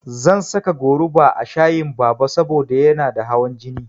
Zan saka goruba a shayin Baba saboda yana da hawan jini.